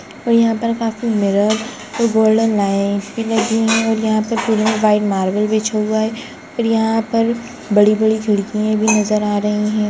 और यहाँ पर काफी मिरर गोल्डन लाइट भी लगी हैं और यहाँ पे पुरे में वाइट मार्बल बिछा हुआ है और यहाँ पर बड़ी बड़ी खिड़कियाँ भी नज़र आ हैं।